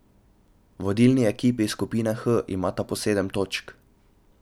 Vodilni ekipi skupine H imata po sedem točk.